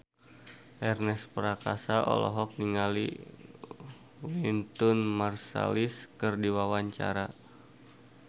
Ernest Prakasa olohok ningali Wynton Marsalis keur diwawancara